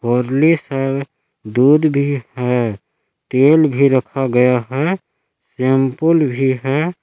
मुरली दूध भी है तेल भी रखा गया है सैंपल भी है।